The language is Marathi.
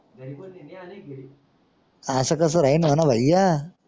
आस कस होयण नाही ना भया.